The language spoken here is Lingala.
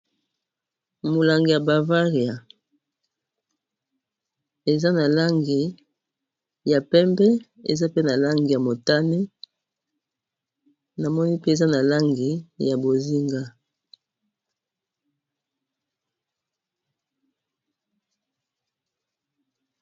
Molangi ya Bavaria, eza na langi ya pembe eza pe na langi ya motane namoni pe eza na langi ya bozinga.